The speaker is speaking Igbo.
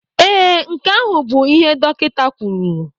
Ee, nke ahụ bụ ihe dọkịta kwuru